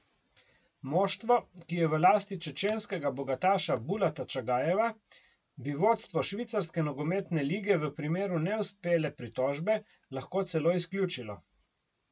Moštvo, ki je v lasti čečenskega bogataša Bulata Čagajeva, bi vodstvo švicarske nogometne lige v primeru neuspele pritožbe lahko celo izključilo.